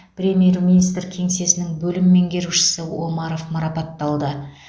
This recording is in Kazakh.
премьер министр кеңсесінің бөлім меңгерушісі омаров марапатталды